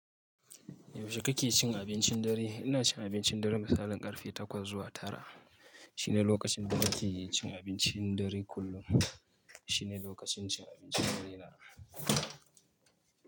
Yaushe kake cin abincin dare? Ina cin abincin dare, misalin karfe takwas zuwa tara. Shine lokacin da nake cin abincin dare kullum. Shine lokacin cin abincin dare na.